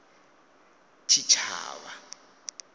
tshitshavha